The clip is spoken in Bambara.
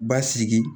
Basigi